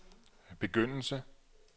begyndelse